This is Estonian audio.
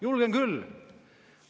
Julgen küll.